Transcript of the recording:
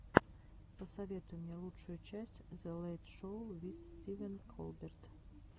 посоветуй мне лучшую часть зе лэйт шоу виз стивен колберт